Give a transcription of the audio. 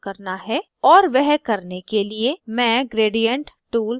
और वह करने के लिए मैं gradient tool प्रयोग करती हूँ